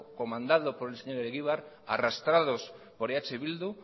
comandado por el señor egibar arrastrados por eh bildu